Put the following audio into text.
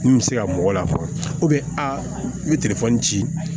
Min bɛ se ka mɔgɔ lafɔ bɛ a bɛ ci